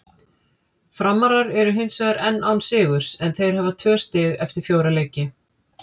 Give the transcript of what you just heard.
Framarar eru hinsvegar enn án sigurs en þeir hafa tvö stig eftir fjóra leiki.